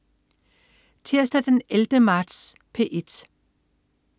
Tirsdag den 11. marts - P1: